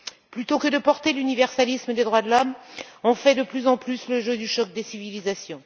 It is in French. Plutôt que de porter l'universalisme des droits de l'homme, nous faisons de plus en plus le jeu du choc des civilisations.